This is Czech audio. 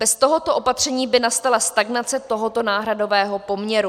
Bez tohoto opatření by nastala stagnace tohoto náhradového poměru.